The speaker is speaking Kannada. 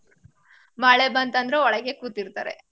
ಮಳೆ ಬಂತಂದ್ರೆ ಒಳಗೆ ಕೂತಿರ್ತಾರೆ.